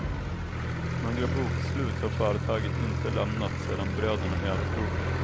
Några bokslut har företaget inte lämnat sedan bröderna övertog det.